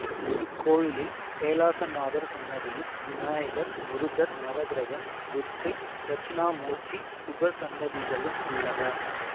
இக்கோயிலில் கைலாசநாதர் சன்னதியும் விநாயகர் முருகர் நவகிரகம் துர்க்கை தட்சிணாமூர்த்தி உபசன்னதிகளும் உள்ளன